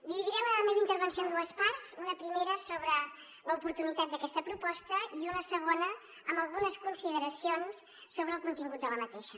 dividiré la meva intervenció en dues parts una primera sobre l’oportunitat d’aquesta proposta i una segona amb algunes consideracions sobre el contingut d’aquesta